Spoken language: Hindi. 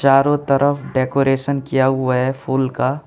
चारों तरफ डेकोरेशन किया हुआ है फूल का।